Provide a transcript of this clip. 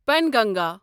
Penganga